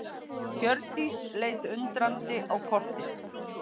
Hjördís leit undrandi á kortið.